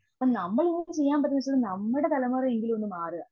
അപ്പം നമ്മളീ ചെയ്യാൻ പറ്റുന്നതുവെച്ചു നമ്മുടെ തലമുറയെങ്കിലും ഇതിൽ നിന്ന് മാറുക.